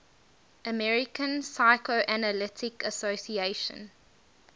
american psychoanalytic association